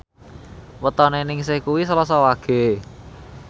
wetone Ningsih kuwi Selasa Wage